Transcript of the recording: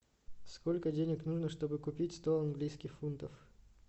сколько денег нужно чтобы купить сто английских фунтов